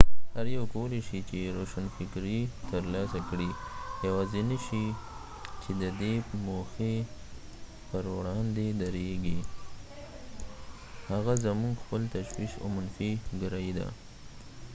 هر یو کولی شي چې روشنفکري ترلاسه کړي یواځینی شی چې ددې موخې پر وړاندې درېږي هغه زمونږ خپل تشویش او منفي ګرایي ده